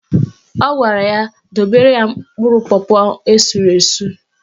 Ọ gwara ya dobere ya mkpụrụ pọpọ esuru esu.